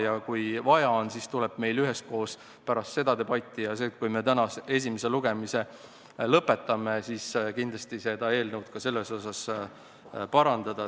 Ja kui vaja on, siis tuleb meil üheskoos pärast seda debatti, kui me oleme täna esimese lugemise lõpetanud, seda eelnõu selles osas parandada.